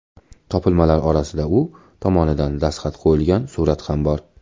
Topilmalar orasida u tomonidan dastxat qo‘yilgan surat ham bor.